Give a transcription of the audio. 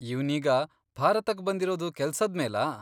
ಇವ್ನೀಗ ಭಾರತಕ್ ಬಂದಿರೋದು ಕೆಲ್ಸದ್ಮೇಲಾ?